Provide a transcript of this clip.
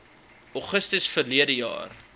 augustus verlede jaar